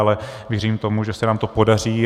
Ale věřím tomu, že se nám to podaří.